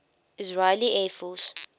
israeli air force